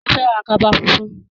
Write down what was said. Mo fẹ́ ra kaba funfun.